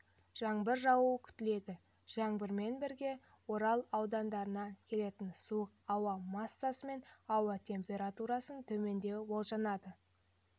жаңбыр жаууы күтіледі жаңбырмен бірге орал аудандарынан келетін суық ауа массасымен ауа температурасының төмендеуі болжанады